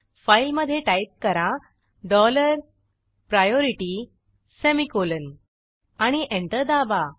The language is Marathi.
फाईलमधे टाईप करा डॉलर प्रायोरिटी सेमिकोलॉन आणि एंटर दाबा